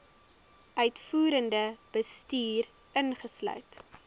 uitvoerende bestuur insluit